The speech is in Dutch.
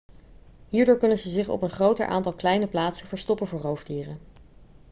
hierdoor kunnen ze zich op een groter aantal kleine plaatsen verstoppen voor roofdieren